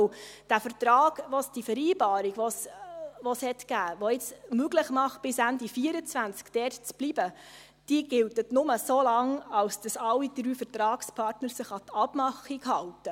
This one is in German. Denn die Vereinbarung, die es gab und die es nun möglich macht, bis Ende 2024 dort zu bleiben, gilt nur so lange, wie sich alle drei Vertragspartner an die Abmachung halten.